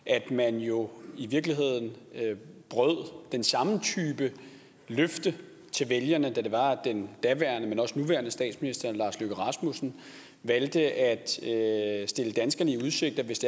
at man jo i virkeligheden brød den samme type løfte til vælgerne da den daværende og også nuværende statsminister lars løkke rasmussen valgte at stille danskerne i udsigt at hvis